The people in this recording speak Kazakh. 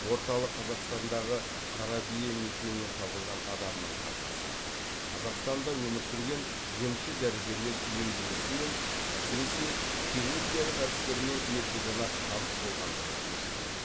орталық қазақстандағы қарабие мекенінен табылған адамның қаңқасы қазақстанда өмір сүрген емші дәрігерлер емдеу ісімен әсіресе хирургиялық әдістермен ертеден ақ таныс болғандығын көрсетеді